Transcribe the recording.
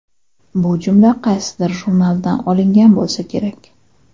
Bu jumla qaysidir jurnaldan olingan bo‘lsa kerak.